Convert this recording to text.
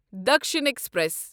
Dakshin express